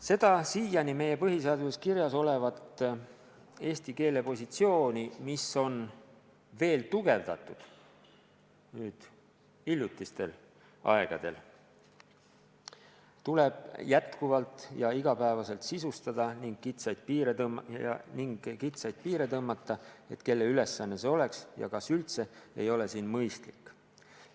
Seda siiani meie põhiseaduses kirjas olevat eesti keele positsiooni, mida on nüüd hiljutistel aegadel veelgi tugevdatud, tuleb jätkuvalt ja igapäevaselt sisustada ning kitsaid piire tõmmata – et kelle ülesanne see oleks ja kas üldse – ei ole siin mõistlik.